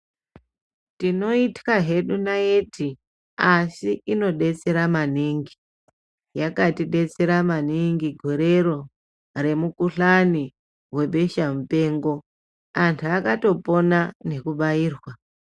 Tinoit'ya hedu naiti asi inodetsera maningi yakatidetsera maningi gorero remukuhlani webesha mupengo antu akatopona nekubairwa.